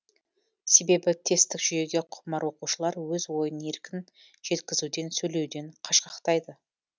себебі тесттік жүйеге құмар оқушылар өз ойын еркің жеткізуден сөйлеуден қашқақтайды